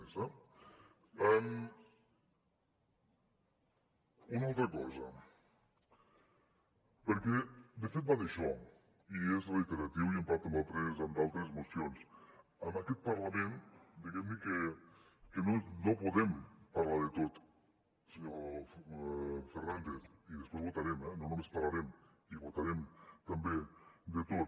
una altra cosa perquè de fet va d’això i és reiteratiu i ho hem parlat en altres mocions en aquest parlament diguem que no podem parlar de tot senyor fernández i després votarem eh no només parlarem i votarem també de tot